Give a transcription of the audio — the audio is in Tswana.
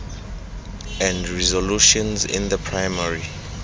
and resolutions in the primary